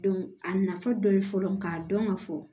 a nafa dɔ ye fɔlɔ k'a dɔn ka fɔ